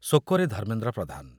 ଶୋକ ରେ ଧର୍ମେନ୍ଦ୍ର ପ୍ରଧାନ